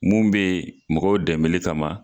Mun be yen mɔgɔw dɛmɛli kama